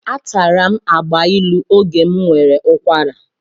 Atara m agbailu oge m nwere ụkwara.